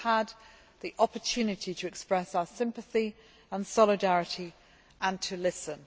We have had the opportunity to express our sympathy and solidarity and to listen.